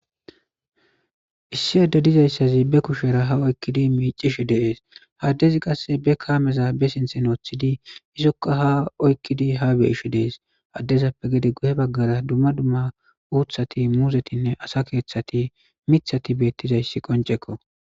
issi edde dizayssazi be kushera ha oykkidi miicish deees haddezi qasse be kaameza be sinthe noothidi isokka ha oykkidi ha beishi dees addezappe gede guye baggara dumma dumma uuthati muzetinne asa keeththati mithati beettizayssi qoncekko